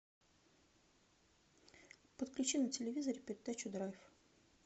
подключи на телевизоре передачу драйв